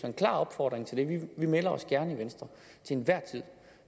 en klar opfordring til det vi melder os gerne i venstre til enhver tid